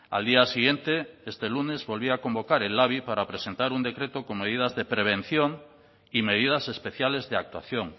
al día siguiente este lunes volvía a convocar el labi para presentar un decreto con medidas de prevención y medidas especiales de actuación